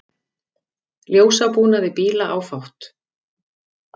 Ljósabúnaði bíla áfátt